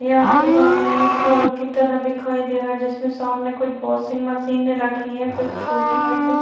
यहाँ पे सामने एक हॉल की तरह दिखाई दे रहा है जिसमें सामने कुछ वाशिंग मशीन रखी है कुछ छोटी है कुछ --